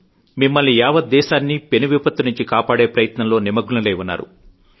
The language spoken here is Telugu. మిమ్మల్నీ యావత్ దేశాన్నీపెను విపత్తు నుంచి కాపాడే ప్రయత్నంలో నిమ్మగ్నులై ఉన్నారు